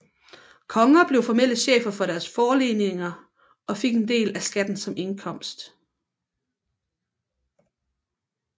Konger blev formelle chefer over deres forleninger og fik en del af skatten som indkomst